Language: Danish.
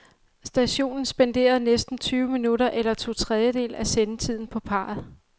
Stationen spenderede næsten tyve minutter eller to tredjedele af sendetiden på parret.